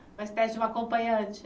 Uma espécie de uma acompanhante?